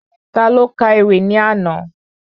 Taló Ka ewì ní àná?